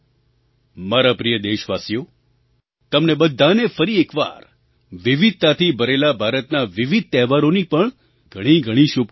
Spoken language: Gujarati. મારા પ્રિય દેશવાસીઓ તમને બધાને ફરી એક વાર વિવિધતાથી ભરેલા ભારતના વિવિધ તહેવારોની પણ ઘણી બધી શુભકામનાઓ